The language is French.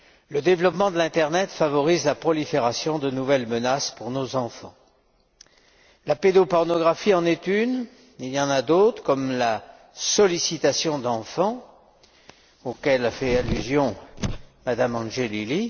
Le développement de l'internet favorise la prolifération de nouvelles menaces pour nos enfants. La pédopornographie en est une. Il y en a d'autres, comme la sollicitation d'enfants, auxquelles a fait allusion Mme Angelilli.